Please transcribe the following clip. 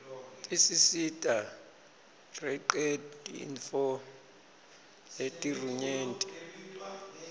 tisisita rreqetintfo letiruyenti